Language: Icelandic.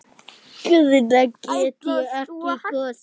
Guðna get ég ekki kosið.